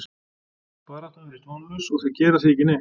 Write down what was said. Baráttan virðist vonlaus og þeir gera því ekki neitt.